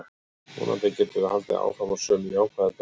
Vonandi getum við haldið áfram á sömu jákvæðu braut.